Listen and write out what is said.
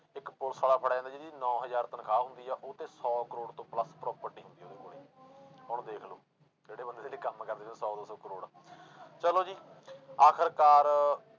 ਇੱਕ ਪੁਲਿਸ ਵਾਲਾ ਫੜਿਆ ਜਾਂਦਾ ਜਿਹਦੀ ਨੋਂ ਹਜ਼ਾਰ ਤਨਖਾਹ ਹੁੰਦੀ ਆ, ਉਹ ਤੇ ਸੌ ਕਰੌੜ ਤੋਂ plus property ਹੁੰਦੀ ਆ ਉਹਦੇ ਕੋਲੇ ਹੁਣ ਦੇਖ ਲਓ ਜਿਹੜੇ ਬੰਦੇ ਕੰਮ ਕਰਦੇ ਸੌ ਦੋ ਸੌ ਕਰੌੜ ਚਲੋ ਜੀ ਆਖਿਰਕਾਰ